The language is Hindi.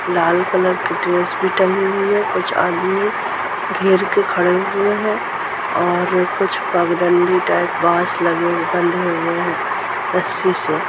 लाल कलर की ड्रेस भी टांगी हुई है कुछ आदमी घेर के खरे हुए है और अ कुछ पगडंडी टाइप बास लगे बंधे हुए है रस्सी से।